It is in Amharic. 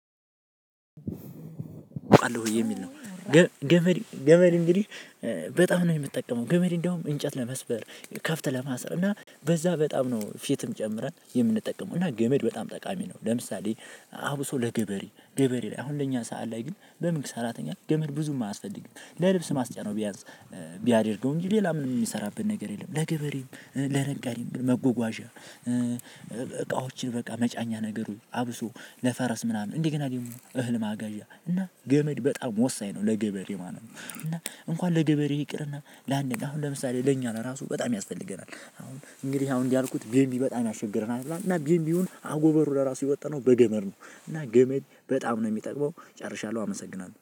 እወቃለሁ የሚል ነው። ገመድ ገመድ እንግዲህ በጣም ነው የምትጠቀመው ገመድ እንዲያውም እንጨት ለመስበር ከብት ለማሰር እና በዛ በጣም ነው ፊትም ጨምረን የምንጠቀመው እና ገመድ በጣም ጠቃሚ ነው፤ ለምሳሌ አቡሶ ለገበሬ ገበሬ ላይ አሁን ለኛ ሰዓት ላይ ግን በመንግስት ሰራተኛ ገመድ ብዙም አያስፈልግም ለልብስ ማስጫ ነው ቢያንስ ቢያደርገው እንጂ ሌላ ምንም የሚሰራበት ነገር የለም። ለገበሬው ለነጋሪም መጎጓዣ እ፣ እ፣ እቃዎችን በቃ መጫኛ ነገሩ አብሶ ለፈረስ ምናምን እንዲህ ግን እህል ማጋዣ እና ገመድ በጣም ወሳኝ ነው ለገበሬ ማለት ነው። እና እንኳን ለገበሬ ይቅርና ለአንድ አሁን ለምሳሌ ለኛ ነው ራሱ በጣም ያስፈልገናል። አሁን እንግዲህ አሁን እንዲህ ያልኩት ቢምቢ በጣም ያስቸገረናል እና ቢምቢውን አጎበሩ ለራሱ የወጣነው በገመድ ነው። እና ገመድ በጣም ነው የሚጠቅመው ጨርሻለሁ አመሰግናለሁ